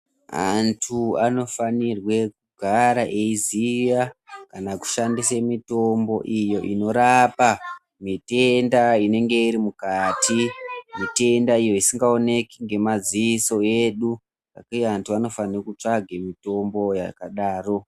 Antu anofanirwe kugara eyiziya kana kushandise mitombo iyi inorapa mitenda inenge irimukati. Mitenda iyi isingawoneki ngemaziso edu, vantu vanofanira kutsvaga mitombo yakadaro.